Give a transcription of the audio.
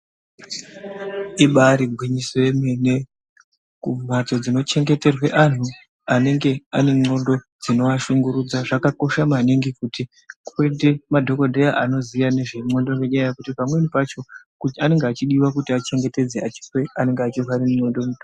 Ibari gwinyiso yemene kumhatso dzinochengeterwa antu anenge ane ndxondo dzinoashungurudza zvakakosha maningi kuti kuite madhokodheya anoziya ngezve ndxondo ngendaa yekuti pamwe pacho anenge achidiwa kuti achengetedze anenge achirwara ngendxondo.